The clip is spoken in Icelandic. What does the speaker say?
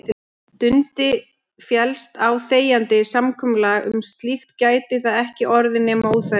Dundi féllist á þegjandi samkomulag um slíkt gæti það ekki orðið nema óþægilegt.